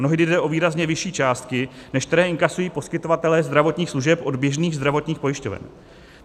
Mnohdy jde o výrazně vyšší částky, než které inkasují poskytovatelé zdravotních služeb od běžných zdravotních pojišťoven.